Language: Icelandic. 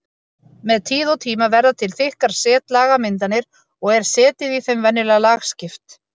Með tíð og tíma verða til þykkar setlagamyndanir og er setið í þeim venjulega lagskipt.